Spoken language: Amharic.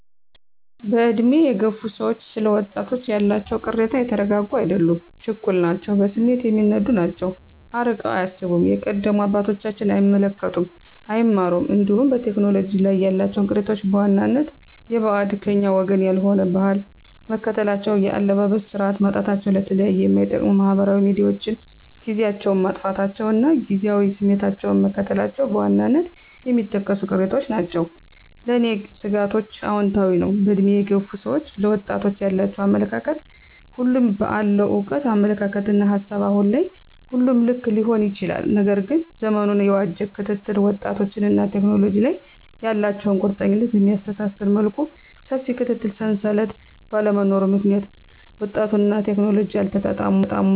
በዕድሜ የገፉ ሰዎች ስለ ወጣቶች ያላቸው ቅሬታ የተረጋጉ አይደሉም ችኩል ናቸው በስሜት የሚነዱ ናቸው አርቀው አያስቡም የቀደሙ አባቶቻቸውን አይመለከቱም አይማሩም እንዲሁም በቴክኖሎጂ ላይ ያላቸው ቅሬታዎች በዋናነት የበዓድ /ከኛ ወገን ያልሆነ/ ባህል መከተላቸው የአለባበስ ስርዓት ማጣታቸው ለተለያዩ ማይጠቅሙ ማህበራዊ ሚዲያዎችን ጊዚያቸውን ማጥፋታቸው እና ጊዚያዊ ስሜታቸውን መከተላቸው በዋናነት የሚጠቀሱ ቅሬታዎች ናቸው። ለኔ ስጋቶችአውንታዊ ነው በእድሜ የገፉ ሰዎች ለወጣቶች ያላቸው አመለካከት ሁሉም በአለው እውቀት አመለካከትና ሀሳብ አሁን ላይ ሁሉም ልክ ሊሆን ይችላል። ነገር ግን ዘመኑን የዋጄ ክትትል ወጣቶችንና ቴክኖሎጂ ላይ ያላቸው ቁርኝት በሚያስተሳስር መልኩ ሰፊ የክትትል ሰንሰለት ባለመኖሩ ምክንያት ወጣቱና ቴክኖሎጂ አልተጣጣሙም ወይም የአዋቂ ሰዎች አሳዳጊዎች ክትትል ማነስ